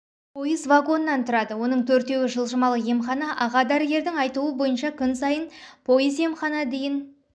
пойыз вагоннан тұрады оның төртеуі жылжымалы емхана аға дәрігердің айтуы бойынша күн сайын пойыз-емхана дейін